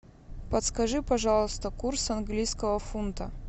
подскажи пожалуйста курс английского фунта